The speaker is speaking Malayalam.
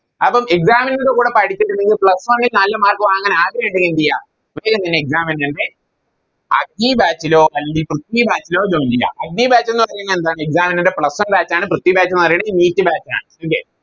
അപ്പോം Exams ൻറെ കൂടെ പഠിച്ച് നിങ്ങൾക്ക് Plus one ല് നല്ല Mark വാങ്ങാൻ ആഗ്രഹിണ്ടേന്തെയ്യ പ്രത്യേകം തന്നെ Exam എഴുതണ്ടെ Batch ലോ അല്ലെങ്കി Batch ലോ Join ചെയ്യാ Batch എന്ന് പറഞ്ഞ എന്താ Exam ൻറെ Plus one batch ആണ് Batch എന്ന് പറയുന്നേ NEETBatch ആണ് ല്ലേ